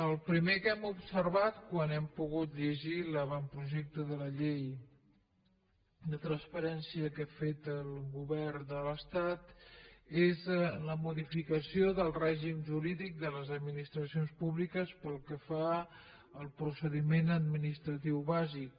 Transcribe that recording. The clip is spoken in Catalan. el primer que hem observat quan hem pogut llegir l’avantprojecte de la llei de transparència que ha fet el govern de l’estat és la modificació del règim jurídic de les administracions públiques pel que fa al procediment administratiu bàsic